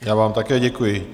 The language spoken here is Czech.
Já vám také děkuji.